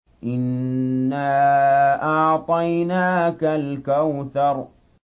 إِنَّا أَعْطَيْنَاكَ الْكَوْثَرَ